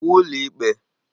Iwu ụlọ ikpe!